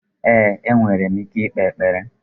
Ee, enwere m ike ikpe ekpere.